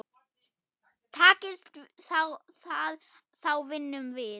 Takist það þá vinnum við.